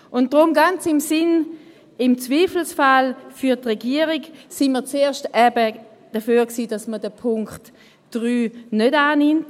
Und deshalb waren wir, ganz im Sinne von «Im Zweifelsfall für die Regierung», zuerst dafür, dass man den Punkt 3 nicht annimmt.